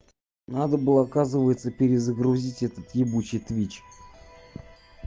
надо было оказывается перезагрузить этот ебучей твич